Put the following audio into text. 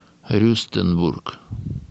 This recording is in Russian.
рюстенбург